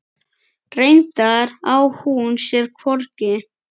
Reyndar á hún sér hvorki